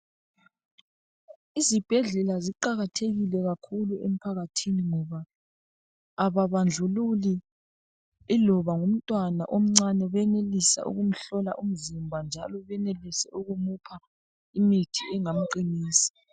Izibhedlela ziqakathekile kakhulu emphakathini ngoba ababandlululi .Iloba ngumntwana omncane benelisa ukumhlola umzimba njalo benelise ukumupha imithi engamqinisa.